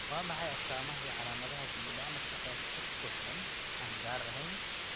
Waa maxay astaamaha iyo calaamadaha dib u dhac maskaxeed, X ku xidhan, aan gaar ahayn?